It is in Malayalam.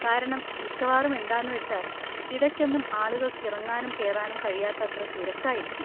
കാരണം മിക്കവാറും എന്താന്നു വച്ചാല്‍, ഇടയ്ക്കൊന്നും ആളുകള്‍ക്ക് ഇറങ്ങാനും കേറാനും കഴിയാത്തത്ര തിരക്കായിരിക്കും.